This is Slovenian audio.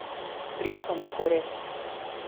Prijetno na oko, res.